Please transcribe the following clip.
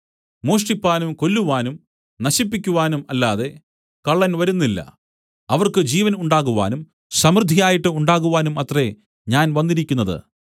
മോഷ്ടിപ്പാനും കൊല്ലുവാനും നശിപ്പിക്കുവാനും അല്ലാതെ കള്ളൻ വരുന്നില്ല അവർക്ക് ജീവൻ ഉണ്ടാകുവാനും സമൃദ്ധിയായിട്ടു ഉണ്ടാകുവാനും അത്രേ ഞാൻ വന്നിരിക്കുന്നത്